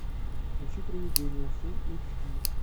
включи приведение фулл эйч ди